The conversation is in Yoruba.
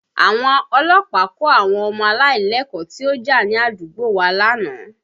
Àwọn ọlọ́pàá kó àwọn ọmọ aláìlẹ́kọ̀ọ́ tí ó já ní àdúgbò wa lánàá